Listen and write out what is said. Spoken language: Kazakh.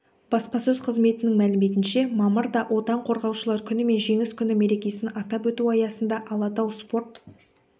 баспасөз қызметінің мәліметінше мамырда отан қорғаушылар күні мен жеңіс күні мерекесін атап өту аясында алатау спорт